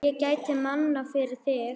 Ég gæti minna, fyrir þig.